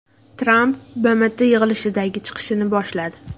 Tramp BMT yig‘ilishidagi chiqishini boshladi.